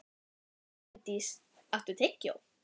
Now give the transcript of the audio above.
Reyndís, áttu tyggjó?